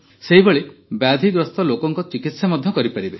ସେହିଭଳି ବ୍ୟାଧିଗ୍ରସ୍ତ ଲୋକଙ୍କ ଚିକିତ୍ସା କରିପାରିବେ